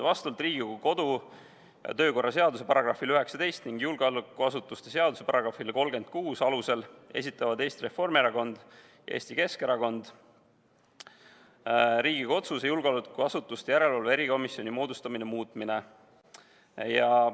Vastavalt Riigikogu kodu- ja töökorra seaduse §-le 19 ning julgeolekuasutuste seaduse §-le 36 esitavad Eesti Reformierakonna ja Eesti Keskerakonna fraktsioon Riigikogu otsuse "Riigikogu otsuse "Julgeolekuasutuste järelevalve erikomisjoni moodustamine" muutmine" eelnõu.